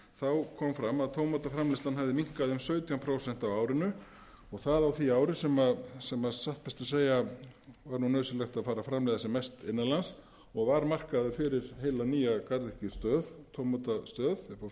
lagt fram kom fram að tómataframleiðslan hafði minnkað um sautján prósent á árinu og það á því ári sem satt best að segja var nauðsynlegt að fara að framleiða sem mest innan lands og var markaður fyrir heila nýja garðyrkjustöð tómatastöð upp á